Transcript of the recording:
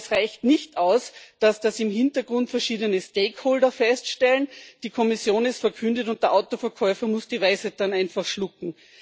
Aber es reicht nicht aus, dass das im Hintergrund verschiedene Stakeholder feststellen, die Kommission es verkündet, und der Autoverkäufer muss die Weisheit dann einfach schlucken.